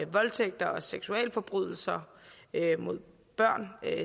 voldtægt og seksualforbrydelser mod børn